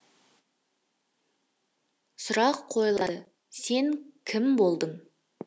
сұрақ қойылады сен кім болдың